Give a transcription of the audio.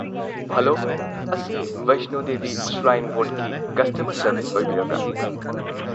Hello! ꯑꯁꯤ Vaishno Devi shrine ꯕꯣꯔꯗꯀꯤ customer service ꯑꯣꯏꯕꯤꯔꯕ꯭ꯔꯥ?